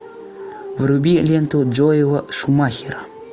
вруби ленту джоэла шумахера